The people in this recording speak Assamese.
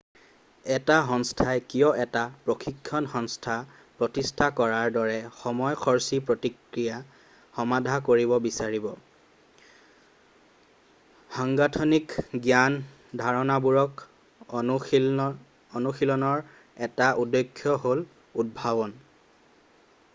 এটা সংস্থাই কিয় এটা প্ৰশিক্ষণ সংস্থা প্ৰতিষ্ঠা কৰাৰ দৰে সময় খৰচী প্ৰক্ৰিয়া সমাধা কৰিব বিচাৰিব সাংগঠনিক জ্ঞান ধাৰণাবোৰক অনুশীলনৰ এটা উদ্দেশ্য হ'ল উদ্ভাৱন